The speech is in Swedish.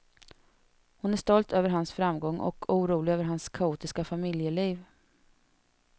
Hon är stolt över hans framgång, och orolig över hans kaotiska familjeliv.